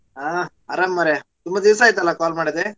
ಹಾ ಆರಾಮಾ ಮಾರಾಯಾ ತುಂಬಾ ದಿವಸ ಆಯ್ತಲ್ಲಾ call ಮಾಡದೆ?